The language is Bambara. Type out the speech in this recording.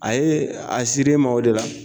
A ye a siri ma o de la.